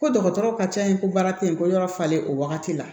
Ko dɔgɔtɔrɔ ka ca yen ko baara tɛ yen ko yɔrɔ falen o wagati la